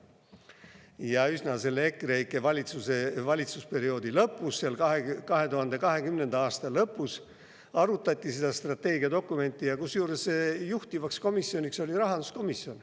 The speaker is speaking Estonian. Ja üsna selle EKREIKE valitsuse valitsusperioodi lõpus, 2020. aasta lõpus arutati seda strateegiadokumenti, kusjuures juhtivkomisjoniks oli rahanduskomisjon.